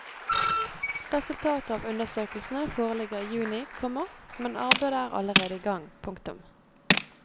Resultatet av undersøkelsene foreligger i juni, komma men arbeidet er allerede i gang. punktum